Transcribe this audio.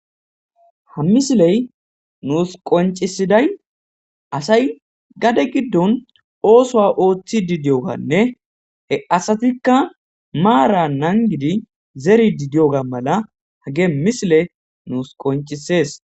ha misiley nuus qoncisiday asay gade giddon oosoa ooththi didiyoganne he asatikka maara nangidi zeri di diyoga mala hage misile nuus qoncisees